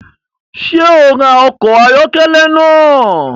Ṣe o rá ọkọ ayọkẹlẹ naa?